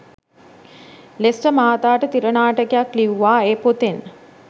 ලෙස්ටර් මහතාට තිරනාටකයක් ලිවිවා එ පොතෙන්.